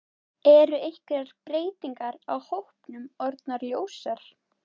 Eru einhverjar breytingar á hópnum orðnar ljósar?